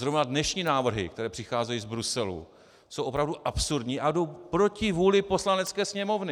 Zrovna dnešní návrhy, které přicházejí z Bruselu, jsou opravdu absurdní a jdou proti vůli Poslanecké sněmovny.